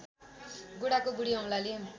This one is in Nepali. गोडाको बुढी औँलाले